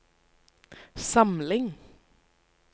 samling